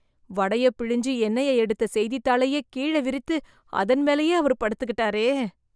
வடைய பிழிஞ்சு எண்ணெய எடுத்த செய்தித்தாளையே, கீழே விரித்து, அதன் மேலயே அவரு படுத்துக்கிட்டாரே...